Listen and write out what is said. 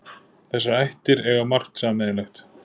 Þessar ættir eiga margt sameiginlegt.